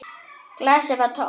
Glasið var tómt.